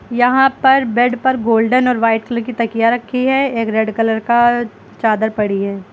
यहां पर बेड पर गोल्डेन और वाइट कलर की तकिया रखी है एक रेड कलर का चादर पड़ी है।